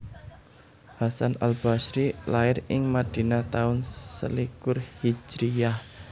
Hasan al Bashri lair ing Madinah taun selikur H